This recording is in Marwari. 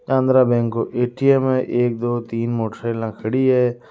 आंध्रा बैंक को ए.टी.एम. है एक दो तीन मोटरसाइकिल खड़ी है।